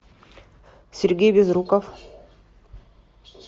сергей безруков